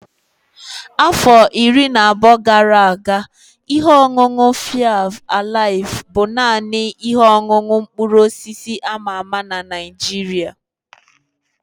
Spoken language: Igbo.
Afọ iri abụọ gara aga, ihe ọṅụṅụ faịf alaif bụ naanị ihe ọṅụṅụ mkpụrụ osisi a ma ama na Naịjirịa.